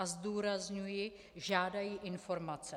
A zdůrazňuji, žádají informace.